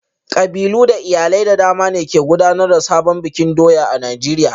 Kabilu da iyalai da dama ne ke gudanar da sabon bikin doya a Najeriya